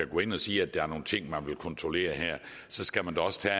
gå ind og sige at der er nogle ting man vil kontrollere her skal man da også tage